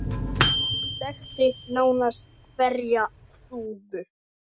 Hann þekkti nánast hverja þúfu.